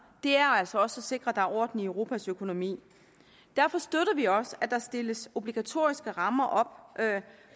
er altså også at sikre at der er orden i europas økonomi derfor støtter vi også at der stilles obligatoriske rammer op